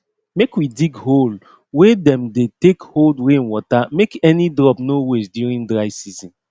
make we dig hole wey dem dey take hold rainwater make any drop no waste during dry season